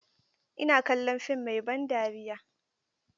Ina kallon fim mai ban dariya.